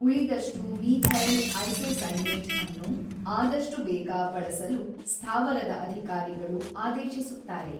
ಉಳಿದಷ್ಟು methyl isocyanate ಅನ್ನು ಆದಷ್ಟು ಬೇಗ ಬಳಸಲು ಸ್ಥಾವರದ ಅಧಿಕಾರಿಗಳು ಆದೇಶಿಸುತ್ತಾರೆ.